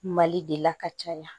Mali de la ka caya